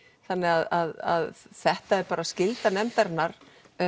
þannig að þetta er skylda nefndarinnar